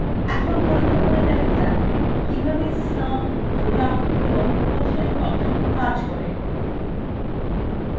এখন পরীক্ষা করে দেখা যাক কিভাবে sum product এবং quotient ফাংশন কাজ করে